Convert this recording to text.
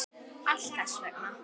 Allt þess vegna.